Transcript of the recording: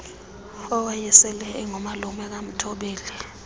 owayesele engumalume kamthobeli